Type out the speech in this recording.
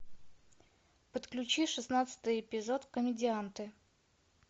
подключи шестнадцатый эпизод комедианты